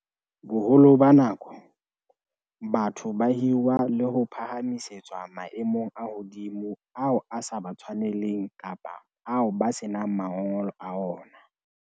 Boholo ba nako, batho ba hirwa le ho phahamisetswa maemong a hodimo ao a sa ba tshwaneleng kapa ao ba senang mangolo a ona.